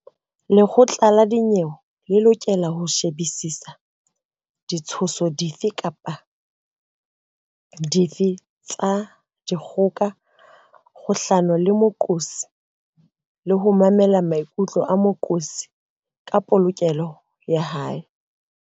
Lekgotla la dinyewe le lokela ho shebisisa ditshoso dife kapa dife tsa dikgoka kgahlano le moqosi le ho mamela maikutlo a moqosi ka polokeho ya hae.